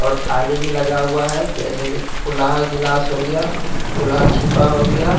और थाली भी लगा हुआ है जैसे कि फूलहा गिलास हो गया फूलहा छिपा हो गया--